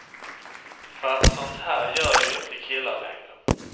Fast sånt här gör ju inte killar längre.